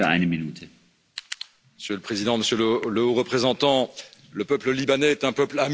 Monsieur le Président, Monsieur le Haut représentant, le peuple libanais est un peuple ami, ce sont nos frères.